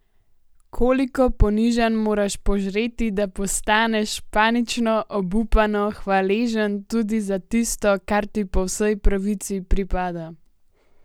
Koliko ponižanj moraš požreti, da postaneš panično, obupano hvaležen tudi za tisto, kar ti po vsej pravici pripada?